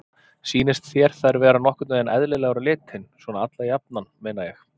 Sýnist þér þær vera nokkurn veginn eðlilegar á litinn, svona alla jafna meina ég?